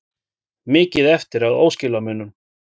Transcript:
Mikið eftir af óskilamunum